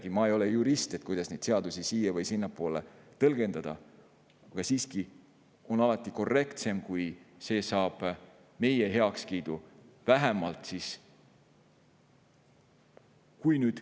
Kuigi ma ei ole jurist ega tea, kuidas neid seadusi siia- või sinnapoole tõlgendada, alati on siiski korrektsem, kui saab vähemalt meie heakskiidu.